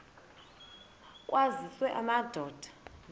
aphuthunywayo kwaziswe amadoda